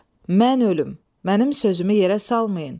Mən ölüm, mənim sözümü yerə salmayın.